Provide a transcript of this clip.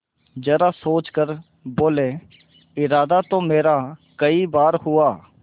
जरा सोच कर बोलेइरादा तो मेरा कई बार हुआ